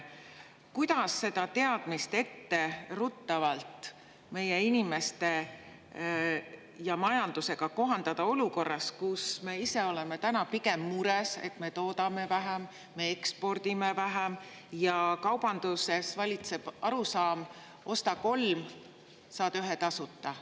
Kuidas seda teadmist meie inimeste ja majandusega etteruttavalt kohandada olukorras, kus me ise oleme täna pigem mures selle pärast, et me toodame ja ekspordime vähem ning kaubanduses valitseb arusaam, et osta kolm ja saad ühe tasuta?